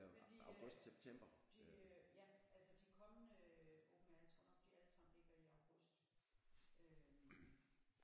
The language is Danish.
Men de øh de øh ja altså de kommende open air jeg tror nok de ligger alle sammen i august øh